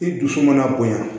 I dusu mana bonya